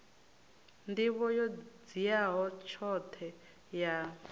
nḓivho yo dziaho tshoṱhe ya